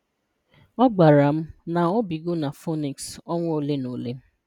Ọ gwara m, na obigo na Phoenix ọnwa ole na ole.